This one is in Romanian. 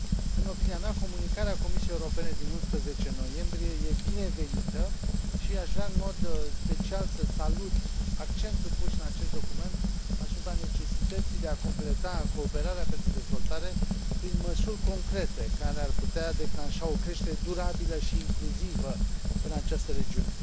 În opinia mea, Comunicarea Comisiei Europene din 11 noiembrie e binevenită și aș vrea, în mod special, să salut accentul pus în acest document asupra necesității de a completa cooperarea pentru dezvoltare prin măsuri concrete, care ar putea declanșa o creștere durabilă și incluzivă în această regiune.